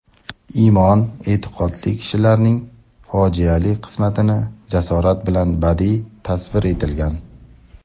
imon-e’tiqodli kishilarning fojiali qismatini jasorat bilan badiiy tasvir etilgan.